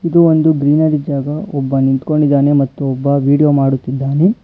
ಇದು ಒಂದು ಗ್ರೀನಿರಿ ಜಾಗ ಒಬ್ಬ ನಿಂತ್ಕೊಂಡಿದ್ದನೆ ಮತ್ತು ಒಬ್ಬ ವಿಡಿಯೋ ಮಾಡುತ್ತಿದ್ದಾನೆ.